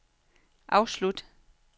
afslut